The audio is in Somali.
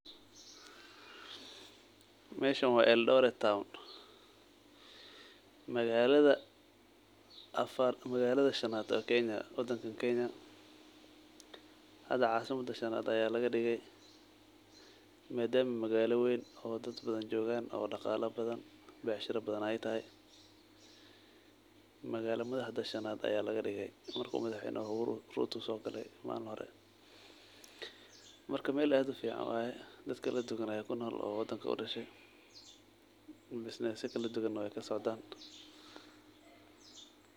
Meeshan wa eldoret town magalada shaanad ee kenya, hada casimada shanad aya madama ey daqalo iyo wax walbo leadaha marka meel ad ufucan waye madama dad fican daganyhin bisnesyao fara badan ey kasocdan.